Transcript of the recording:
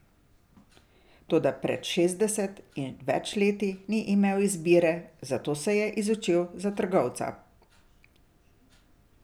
Toda pred šestdeset in več leti ni imel izbire, zato se je izučil za trgovca.